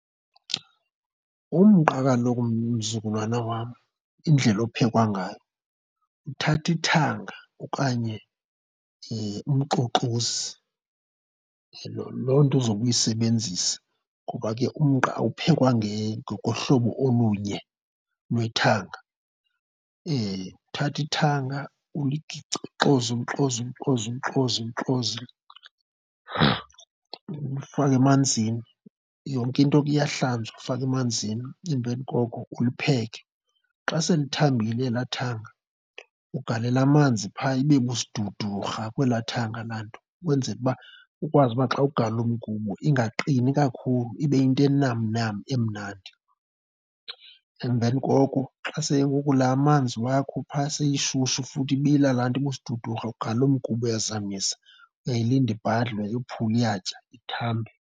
Umqa kaloku mzukulwana wam, indlela ophekwa ngayo, uthatha ithanga okanye umxoxozi, loo nto uzobe uyisebenzisa ngoba ke umqa awuphekwa ngohlobo olunye lwethanga. Uthatha ithanga ulixoze ulixoze ulixoze ulifake emanzini. Yonke into ke iyahlanjwa, uyifaka emanzini emveni koko ulipheke. Xa selithambile elaa ithanga, ugalele amanzi phaa ibe busidudurha kwelaa ithanga laa nto ukwenzela uba ukwazi uba xa ugalela umgubo ingaqini kakhulu, ibe yinto enamnam emnandi. Emveni koko xa sengoku laa amanzi wakho phaa seyishushu futhi ibila laa nto ibusidudurha, ugalela umgubo uyazamisa. Uyayilinda ibhadle, uyayophula, uyatya, ithambe.